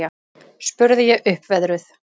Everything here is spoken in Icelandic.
spurði ég uppveðruð.